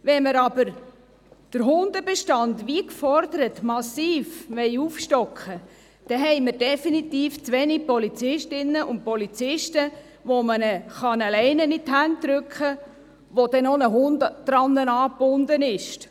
Wenn wir aber den Hundebestand, wie gefordert wird, massiv aufstocken wollen, haben wir definitiv zu wenige Polizistinnen und Polizisten, denen man eine Leine in die Hand drücken kann und an der dann noch ein Hund angebunden ist.